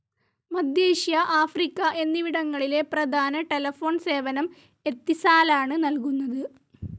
മധ്യേഷ്യ Africa എന്നിവിടങ്ങളിലെ പ്രധാന telephone സേവനം എത്തിസാലാണ് നൽകുന്നത്.